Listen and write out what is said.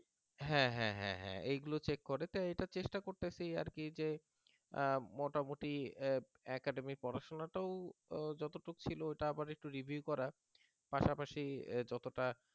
হ্যাঁ হ্যাঁ হ্যাঁ হ্যাঁ এগুলো check করে তো এটা চেষ্টা করতেছি আর কি যে মোটামুটি academy পড়াশোনা যতটুকু ছিল ছিল আর একটু review করার পাশাপাশি